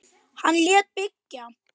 Hann lét byggja